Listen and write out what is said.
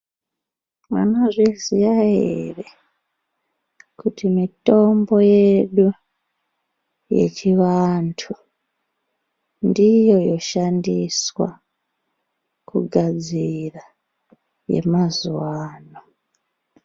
Munozviziya here kuti mitombo yedu yechivantu, ndiyo yoshandiswa kugadzira yemazuva ano?